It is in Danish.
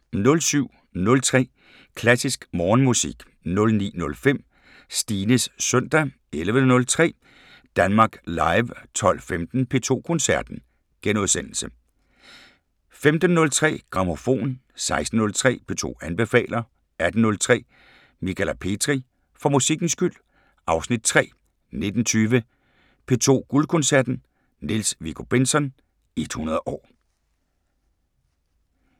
07:03: Klassisk Morgenmusik 09:05: Stines søndag 11:03: Danmark Live 12:15: P2 Koncerten * 15:03: Grammofon 16:03: P2 anbefaler 18:03: Michala Petri: For musikkens skyld (Afs. 3) 19:20: P2 Guldkoncerten: Niels Viggo Bentzon 100 år